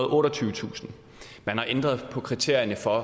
og otteogtyvetusind man har ændret på kriterierne for